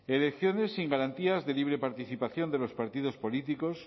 elecciones sin garantías de libre participación de los partidos políticos